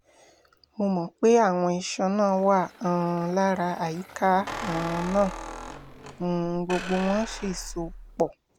mo mọ̀ pé àwọn iṣan náà wà um lára àyíká um náà um gbogbo wọn sì so pọ̀